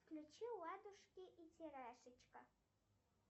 включи лапушки и тирашечка